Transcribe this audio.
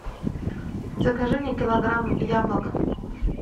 закажи мне килограмм яблок